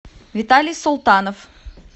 виталий султанов